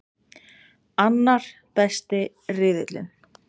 Annar besti riðillinn